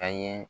An ye